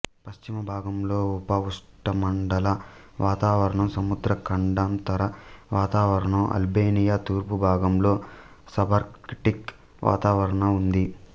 పశ్చిమ భాగంలో ఉపఉష్ణమండల వాతావరణం సముద్ర ఖండాంతర వాతావరణం అల్బేనియా తూర్పు భాగంలో సబార్కిటిక్ వాతావరణ ఉంది